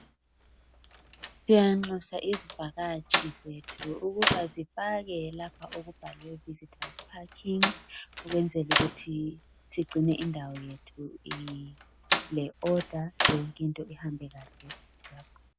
Ziyanxusa izivakatshi zethu ukuba zipake lapha okubhalwe visitors packing ukwenzelu kuthi sigcine indawo yethu ile order yonke into ihambe kahle.